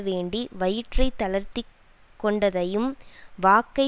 வேண்டி வயிற்றைத் தளர்த்தி கொண்டதையும் வாக்கை